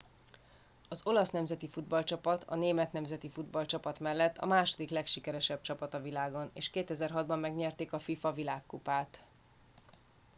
az olasz nemzeti futballcsapat a német nemzeti futballcsapat mellett a második legsikeresebb csapat a világon és 2006 ban megnyerték a fifa világkupát